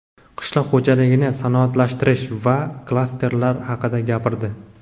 qishloq xo‘jaligini sanoatlashtirish va klasterlar haqida gapirdi.